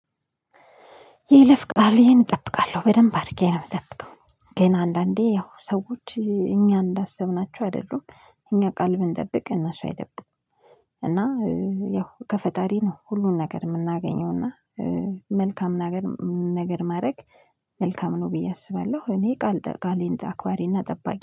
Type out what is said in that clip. የይለፍቃሌን እጠብቃለሁ በደንብ አድርጌ ነው የምጠብቀው። ግን አንዳንዴ ያው ሰዎች እኛ እንዳሰብናቸው አይደሉም እኛ ቃል ብንጠብቅ እነሱ አይጠብቁም። እና ያው ከፈጣሪ ነው ሁሉን ነገር የምናገኘው። እና መልካም ነገር ማድረግ መልካም ነው ብዬ አስባለሁ። እኔ ቃሌን አክባሪና ጠባቂ